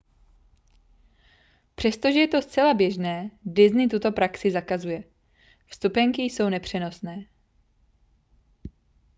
přestože je to zcela běžné disney tuto praxi zakazuje vstupenky jsou nepřenosné